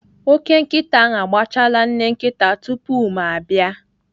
Ókè nkịta ahụ agbachala nne nkịta tupu ma abịa.